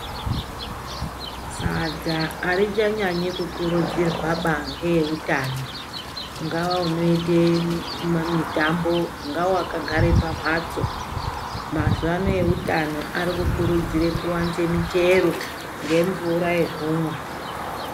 Sadza arichanyanyi kukurudzirwaba ngeeutano ungava unoite mitambo ungava wakagare pamhatso. Mazuvano eutano arikukudzire kuwanze michero ngemvura yekumwa.